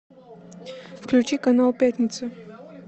включи канал пятница